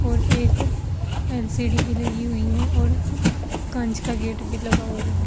और एक एल_सी_डी भी लगी हुई है और कांच का गेट भी लगा हुआ है।